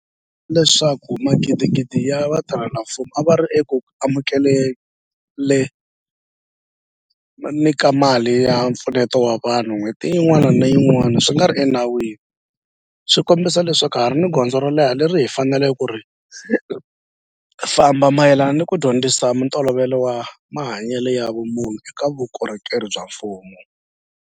mente ka leswaku magidigidi ya vatirhela mfumo a va ri eku amukele ni ka mali ya mpfuneto wa vanhu n'hweti yin'wana ni yin'wana swi nga ri enawini swi kombisa leswaku ha ha ri ni gondzo ro leha leri hi faneleke ku ri famba mayelana ni ku dyondzisa ntolovelo wa mahanyelo ya vumunhu eka vukorhokeri bya mfumo.